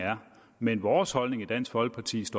er men vores holdning i dansk folkeparti